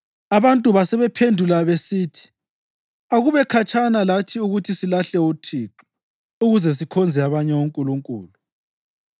Abantu basebephendula besithi, “Akube khatshana lathi ukuthi silahle uThixo ukuze sikhonze abanye onkulunkulu!